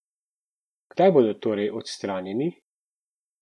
Kdaj bodo torej odstranjeni?